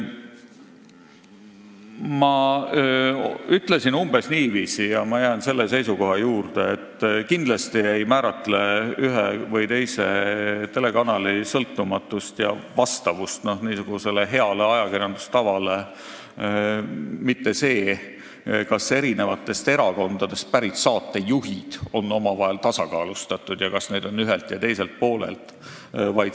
Ma ütlesin umbes niiviisi ja jään selle seisukoha juurde, et kindlasti ei määra ühe või teise telekanali sõltumatust ja vastavust heale ajakirjandustavale mitte see, kas eri erakondadest pärit saatejuhtide kaasamine on tasakaalustatud, st kas neid on ühelt ja teiselt poolelt.